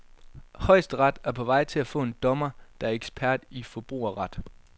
Højesteret er på vej til at få en dommer, der er ekspert i forbrugerret.